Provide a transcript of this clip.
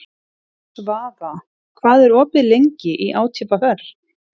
Svafa, hvað er opið lengi í ÁTVR?